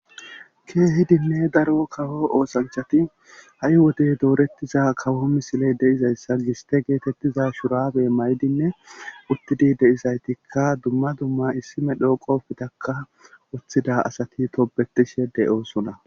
Keehidinne daro kawo oosanchati ha'i wodey doorettiza kawo misiley deizayssa giste geetettiza shurabe maydinne uttidi deizaytikka dumma dumma issime dhooqoftaka woththida asati tobetishe de'oosuna.